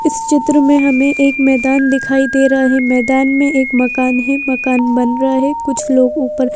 इस चित्र में हमें एक मैदान दिखाई दे रहा है मैदान में एक मकान है मकान बन रहा है कुछ लोग ऊपर।